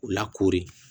U lakoori